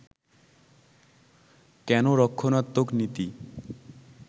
কেন রক্ষণাত্মক নীতি